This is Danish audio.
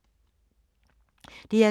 DR2